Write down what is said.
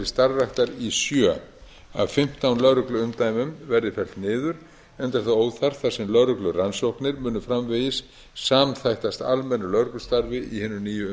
starfræktar í sjö af fimmtán lögregluumdæmum verði fellt niður enda er það óþarft þar sem lögreglurannsóknir munu framvegis samþættast almennu lögreglustarfi í